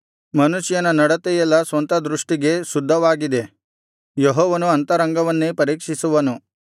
ಮನುಷ್ಯನ ನಡತೆಯೆಲ್ಲಾ ಸ್ವಂತ ದೃಷ್ಟಿಗೆ ಶುದ್ಧವಾಗಿದೆ ಯೆಹೋವನು ಅಂತರಂಗವನ್ನೇ ಪರೀಕ್ಷಿಸುವನು